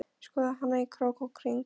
Skoðaði hana í krók og kring.